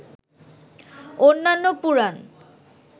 অন্যান্য পুরাণ